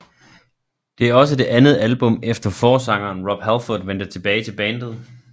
Det er også det andet album efter forsangeren Rob Halford vendte tilbage til bandet